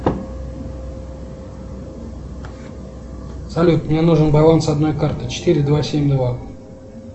салют мне нужен баланс одной карты четыре два семь два